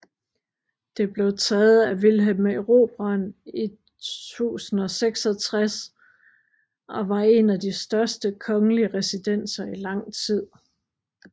Det blev taget af Vilhelm Erobreren i 1066 og var en af de største kongelige residenser i lang tid